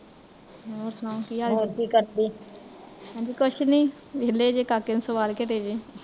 ਹੋਰ ਸੁਣਾਓ ਕੀ ਹਾਲ ਚਾਲ ਬਸ ਕੁਸ਼ ਨੀ, ਵੇਹਲੇ ਕਾਕੇ ਨੂੰ ਸਵਾਲ ਕੇ ਹਟੇ ਜੇ